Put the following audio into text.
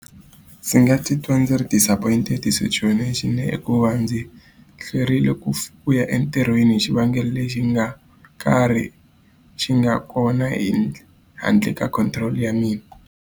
Ndzi nga titwa ndzi ri disappoint hi hikuva ndzi hlwerile ku ku ya entirhweni hi xivangelo lexi nga karhi xi nga kona hi handle ka control ya mina.